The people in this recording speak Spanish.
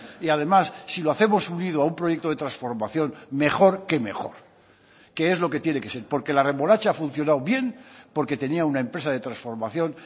y además si lo hacemos unido a un proyecto de transformación mejor que mejor que es lo que tiene que ser porque la remolacha ha funcionado bien porque tenía una empresa de transformación